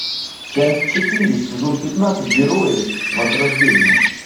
часть четыре сезон пятнадцать герои возрождение